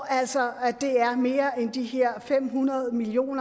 altså er mere end de her fem hundrede million